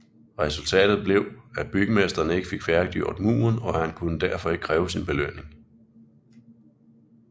Resultatet blev at bygmesteren ikke fik færdiggjort muren og han kunne derfor ikke kræve sin belønning